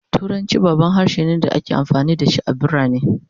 Turanci babban harshe ne da ake amfani da shi a cikin birane